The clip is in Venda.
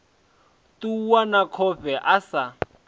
ṱuwa na khofhe a sa